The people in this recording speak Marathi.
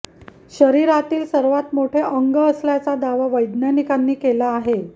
शरीरातील सर्वात मोठे अंग असल्याचा दावा वैज्ञानिकांनी केला आहे